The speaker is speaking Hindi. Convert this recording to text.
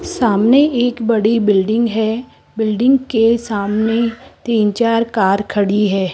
सामने एक बड़ी बिल्डिंग है बिल्डिंग के सामने तीन चार कार खड़ी है।